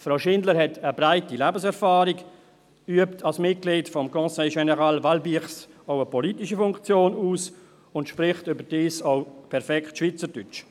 Frau Schindler hat eine breite Lebenserfahrung, übt als Mitglied des Conseil général Valbirse auch eine politische Funktion aus und spricht überdies auch perfekt Schweizerdeutsch.